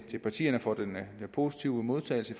til partierne for den positive modtagelse